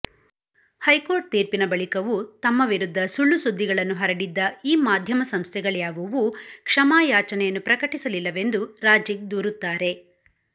high court ತೀರ್ಪಿನ ಬಳಿಕವೂ ತಮ್ಮ ವಿರುದ್ಧ ಸುಳ್ಳು ಸುದ್ದಿಗಳನ್ನು ಹರಡಿದ್ದ ಈ ಮಾಧ್ಯಮಸಂಸ್ಥೆಗಳ್ಯಾವುವೂ ಕ್ಷಮಾಯಾಚನೆಯನ್ನು ಪ್ರಕಟಿಸಲಿಲ್ಲವೆಂದು ರಾಝಿಕ್ ದೂರುತ್ತಾರೆ